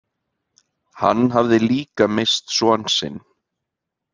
Hann hafði líka misst son sinn.